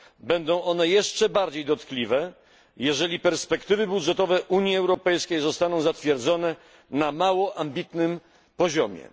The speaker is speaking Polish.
Będą one jeszcze bardziej dotkliwe, jeżeli perspektywy budżetowe Unii Europejskiej zostaną zatwierdzone na mało ambitnym poziomie.